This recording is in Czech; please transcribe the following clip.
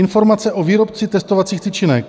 Informace o výrobci testovacích tyčinek.